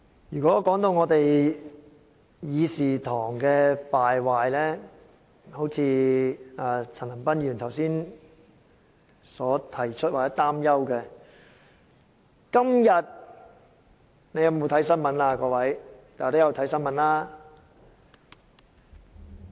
如果說到我們議事堂的敗壞，正如陳恒鑌議員剛才所提及或擔憂的，今天各位有否看新聞？